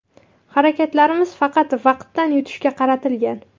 Harakatlarimiz faqat vaqtdan yutishga qaratilgan.